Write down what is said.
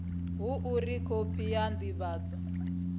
ha uri khophi ya ndivhadzo